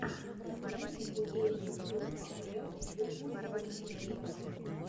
найди футбольную игру апл ливерпуль против лестера